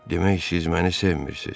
"Demək, siz məni sevmirsiz?"